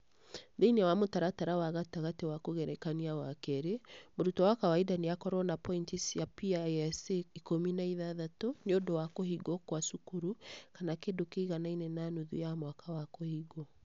Thĩinĩ wa mũtaratara wa gatagatĩ wa kũgerekania wa keerĩ, mũrutwo wa kawaida nĩ akorwo ni pointi cia PISA ikũmi na ithathatũ nĩ ũndũ wa kũhingwo kwa cukuru, kana kĩndũ kĩiganaine na nuthu ya mwaka wa kũhingwo.